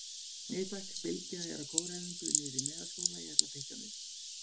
Nei takk, Bylgja er á kóræfingu niðri í Melaskóla, ég ætla að pikka hana upp.